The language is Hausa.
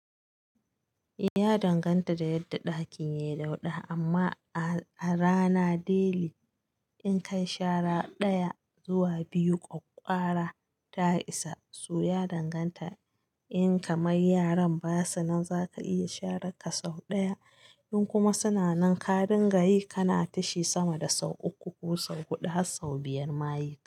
Ya danganta da yadda ɗakin yayi dauɗa amma A rana daily, in kayi shara ɗaya zuwa biyu ƙwaƙƙwara ta isa. So ya danganta, in kamar yaran basu nan zaka iya sharar ka sau ɗaya, in kuma suna nan ka dinga yi kana tishi sama da sau uku ko sau huɗu har sau biyar ma yi kake.